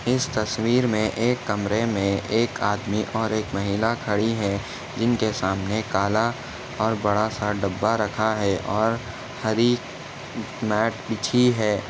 इस तस्वीर मे एक कमरे मे एक आदमी और एक महिला खड़ी है जिनके सामने काला और बड़ा सा डब्बा रखा है और हरी मैट बीछी है।